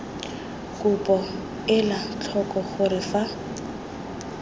kopo ela tlhoko gore fa